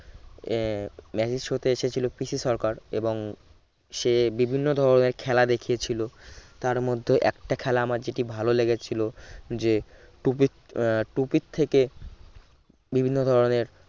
এ magic show তে এসেছিল পিসি সরকার এবং সে বিভিন্ন ধরনের খেলা দেখিয়ে ছিল তার মধ্যে একটা খেলা আমার যেটি ভালো লেগেছিল যে টুপি আহ টুপি থেকে বিভিন্ন ধরনের